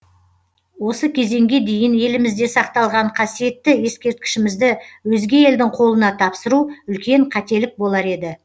осы кезеңге дейін елімізде сақталған қасиетті ескерткішімізді өзге елдің қолына тапсыру үлкен қателік болар еді